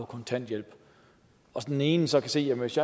kontanthjælp og den ene så kan se at hvis